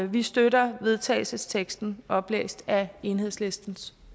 vi støtter vedtagelsesteksten oplæst af enhedslistens